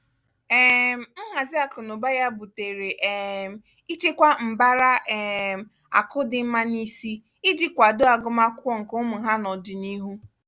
um nhazi akụnaụba ya butere um ichekwa mbara um akụ dị mma n'isi iji kwàdoo agụmakwụkwọ nke ụmụ ha n'ọdinihu.